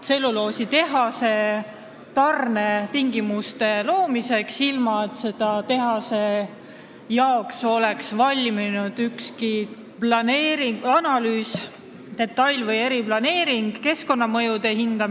tselluloositehase tarnetingimuste loomiseks, ilma et oleks valminud ükski analüüs selle tehase kohta, tehtud detail- või eriplaneering või hinnatud keskkonnamõjusid.